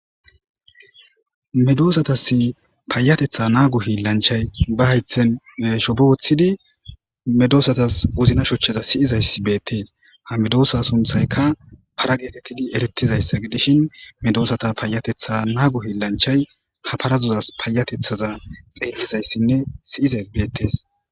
medoosatas paayatetha naagu hi lanchay ba haythen shoboothidi medoosatas uzna shochcheza siyizayssi beettees ha medoosa sunthayka para geetettidi erettizayssa gidishin medoosata paayatetha naagu hi lanchay ha parazuzas paayatethaza xeellizayssinne siyizays beettees